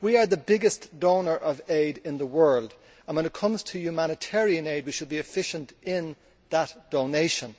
We are the biggest donor of aid in the world and when it comes to humanitarian aid, we should be efficient in that donation.